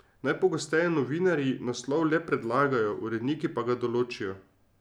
Najpogosteje novinarji naslov le predlagajo, uredniki pa ga določijo.